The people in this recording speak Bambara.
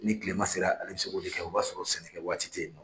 Ni kile ma sera ale bɛ se k'o de kɛ, o b'a sɔrɔ sɛnɛ kɛ waati tɛ yen nɔ.